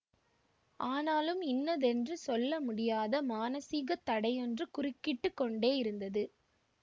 ஆனாலும் இன்னதென்று சொல்ல முடியாத மானஸீகத் தடையொன்று குறுக்கிட்டு கொண்டேயிருந்தது